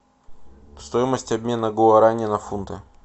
стоимость обмена гуарани на фунты